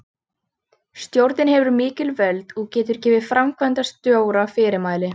Stjórnin hefur mikil völd og getur gefið framkvæmdastjóra fyrirmæli.